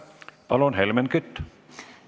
Palun, Helmen Kütt!